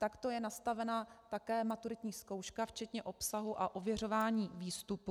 Takto je nastavena také maturitní zkouška včetně obsahu a ověřování výstupů.